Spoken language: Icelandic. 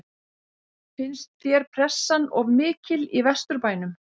Finnst þér pressan of mikil í Vesturbænum?